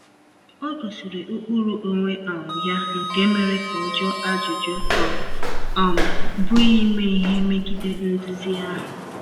O gosiri ụkpụrụ onwe um ya nke mere ka ọ jụọ ajụjụ, ọ um bụghị ime ihe megide nduzi ahụ.